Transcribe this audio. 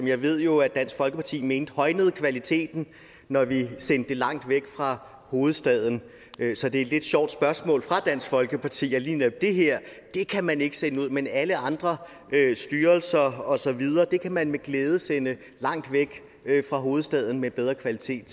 jeg ved jo at dansk folkeparti mente højnede kvaliteten når vi sendte det langt væk fra hovedstaden så det er et lidt sjovt spørgsmål fra dansk folkeparti lige netop det her kan man ikke sende ud men alle andre styrelser og så videre kan man med glæde sende langt væk fra hovedstaden med bedre kvalitet